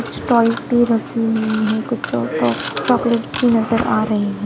कुछ टॉयज भी रखे हुए है कुछ और चो-तो-चॉकलेट्स भी नज़र आरहे है।